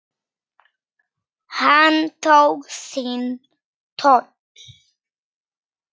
Hann tók sinn toll.